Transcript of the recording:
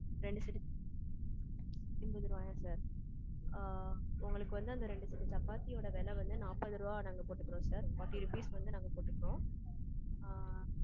ரெண்டு set என்பது ரூபாயா sir? ஆ. உங்களுக்கு வந்து அந்த ரெண்டு set சப்பாத்தி ஓட விலை வந்து நாற்பது ரூபாய் நாங்க போட்டுக்குறோம் sir forty rupees வந்து நாங்க போட்டுக்குறோம்.